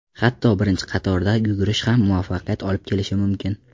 Hatto birinchi qatorda yugurish ham muvaffaqiyat olib kelishi mumkin.